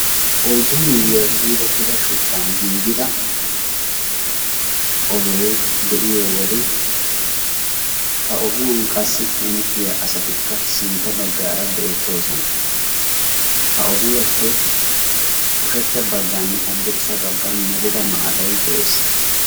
oyddu miiyuwaa ciirettida shuchchan giigida ogee de'iyo wode ha ogiyan qassi hemettiya asatikka sintta baggaara beettoosona ha ogiyaappe ushachcha baggan haddirssa baggan melida maatay de'ees